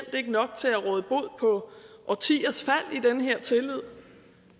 ikke nok til at råde bod på årtiers fald i den her tillid